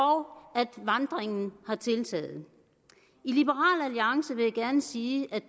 og at vandringen er tiltaget jeg vil gerne sige at